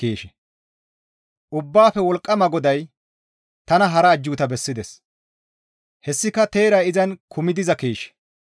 Ubbaafe Wolqqama GODAY tana hara ajjuuta bessides; hessika teeray izan kumi diza keeshe.